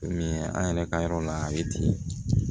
Min an yɛrɛ ka yɔrɔ la a bɛ ten